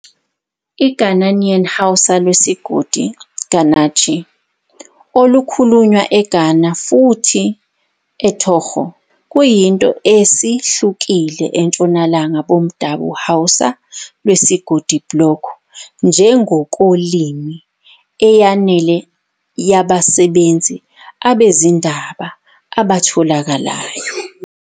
I Ghanaian Hausa lwesigodi Gaananci," akhulunywa Ghana futhi Togo, kuyinto esihlukile entshonalanga bomdabu Hausa lwesigodi-Bloc nge ngokolimi eyanele yabasebenzi abezindaba atholakalayo.